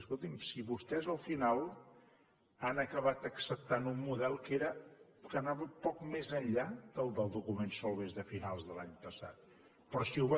escolti’m si vostès al final han acabat acceptant un model que anava poc més enllà que el del document solbes de finals de l’any passat però si ho